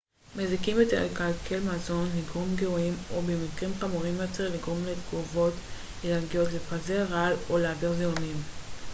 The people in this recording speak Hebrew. מזיקים יכולים לקלקל מזון לגרום גירויים או במקרים חמורים יותר לגרום לתגובות אלרגיות לפזר רעל או להעביר זיהומים